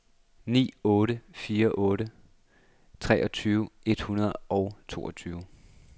ni otte fire otte treogtyve et hundrede og toogtyve